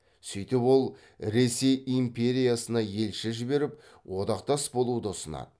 сөйтіп ол ресей империясына елші жіберіп одақтас болуды ұсынады